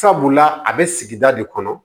Sabula a bɛ sigida de kɔnɔ